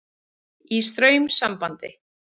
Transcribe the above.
Í straumsambandi.